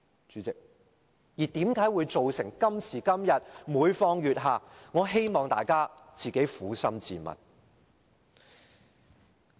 主席，為何今時今日會每況愈下，我希望大家撫心自問。